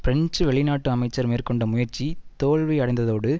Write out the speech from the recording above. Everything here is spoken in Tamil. பிரெஞ்சு வெளிநாட்டு அமைச்சர் மேற்கொண்ட முயற்சி தோல்வியடைந்ததோடு